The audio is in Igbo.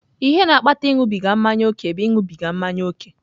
Ihe na-akpata ịṅụbiga mmanya ókè bụ ịṅụbiga mmanya ókè.